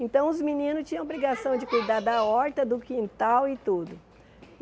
Então os meninos tinham obrigação de cuidar da horta, do quintal e tudo.